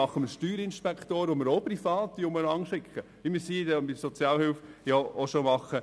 Dann führen wir Steuerinspektoren ein, die wir ebenfalls privat umherschicken, wie wir es bei der Sozialhilfe auch schon tun.